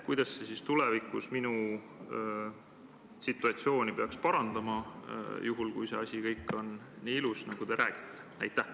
Kuidas see kõik tulevikus minu situatsiooni peaks parandama, juhul kui see asi on kõik nii ilus, nagu te räägite?